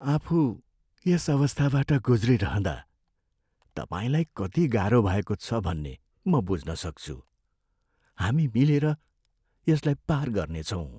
आफू यस अवस्थाबाट ग्रुज्रिरहँदा तपाईँलाई कति गाह्रो भएको छ भन्ने म बुझ्न सक्छु! हामी मिलेर यसलाई पार गर्नेछौँ।